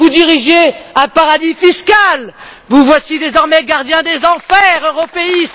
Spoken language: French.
Vous dirigiez un paradis fiscal, vous voici désormais gardien des enfers européistes.